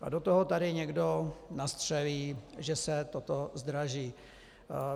A do toho tady někdo nastřelí, že se toto zdraží.